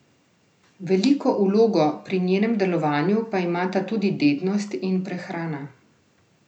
Veliko vlogo pri njenem delovanju pa imata tudi dednost in prehrana.